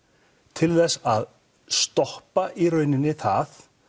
til þess að stoppa í rauninni það